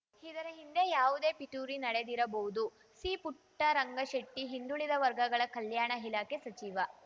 ಇದರ ಹಿಂದೆ ಯಾವುದೇ ಪಿತೂರಿ ನಡೆದಿರಬಹುದು ಸಿ ಪುಟ್ಟರಂಗಶೆಟ್ಟಿ ಹಿಂದುಳಿದ ವರ್ಗಗಳ ಕಲ್ಯಾಣ ಇಲಾಖೆ ಸಚಿವ